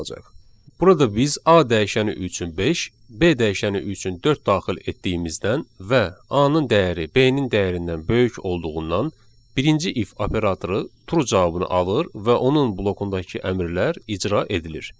Burada biz A dəyişəni üçün 5, B dəyişəni üçün 4 daxil etdiyimizdən və A-nın dəyəri B-nin dəyərindən böyük olduğundan, birinci if operatoru true cavabını alır və onun blokundakı əmrlər icra edilir.